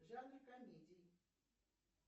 жанр комедии